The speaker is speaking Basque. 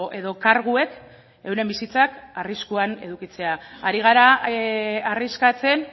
edo karguek euren bizitzak arriskuan edukitzea ari gara arriskatzen